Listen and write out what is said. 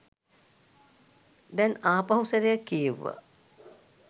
දැන් ආපහු සැරයක් කියෙව්වා